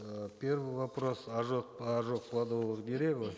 э первый вопрос ожог ожог плодовых деревьев